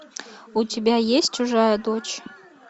у тебя есть чужая дочь